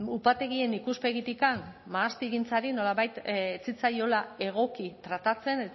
upategien ikuspegitik mahastigintzari nolabait ez zitzaiola egoki tratatzen